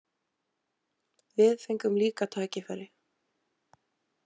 Við fengum líka tækifæri.